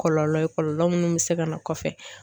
Kɔlɔlɔ ye kɔlɔlɔ minnu bɛ se ka na kɔfɛ.